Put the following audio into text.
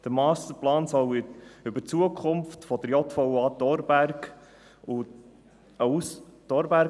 Der Masterplan sollte über die Zukunft der Justizvollzugsanstalt (JVA)